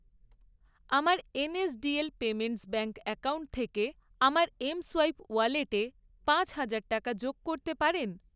আমার NSDL payments bank account থেকে আমার এমসোয়াইপ ওয়ালেটে পাঁচ হাজার টাকা যোগ করতে পারেন?